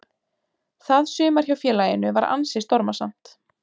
Það sumar hjá félaginu var ansi stormasamt.